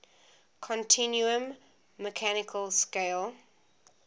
continuum mechanical scale